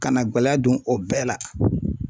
Ka na gɛlɛya don o bɛɛ la.